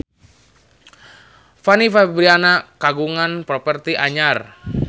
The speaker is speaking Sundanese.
Fanny Fabriana kagungan properti anyar